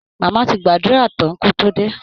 Mama ti gbàdúrà tán kó tó dé